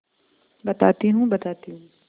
बताती हूँ बताती हूँ